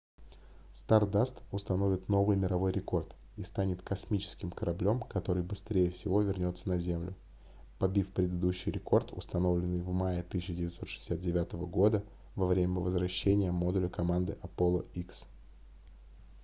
stardust установит новый мировой рекорд и станет космическим кораблём который быстрее всего вернётся на землю побив предыдущий рекорд установленный в мае 1969 года во время возвращения модуля команды apollo x